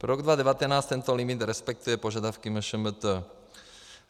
Pro rok 2019 tento limit respektuje požadavky MŠMT.